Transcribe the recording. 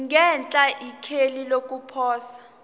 ngenhla ikheli lokuposa